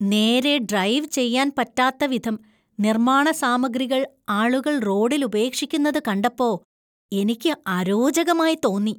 നേരേ ഡ്രൈവ് ചെയ്യാൻ പറ്റാത്ത വിധം നിർമ്മാണ സാമഗ്രികൾ ആളുകൾ റോഡിൽ ഉപേക്ഷിക്കുന്നത് കണ്ടപ്പോ എനിക്ക് അരോചകമായി തോന്നി .